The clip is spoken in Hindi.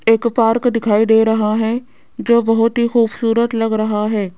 एक पार्क दिखाई दे रहा है जो बहोत ही खूबसूरत लग रहा है।